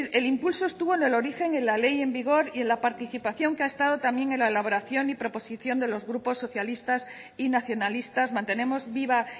el impulso estuvo en el origen en la ley en vigor y en la participación que ha estado también en la elaboración y proposición de los grupos socialistas y nacionalistas mantenemos viva